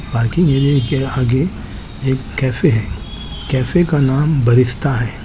पालकी विनि के आगे एक कैफ़े है कैफ़े का नाम बरिस्ता है।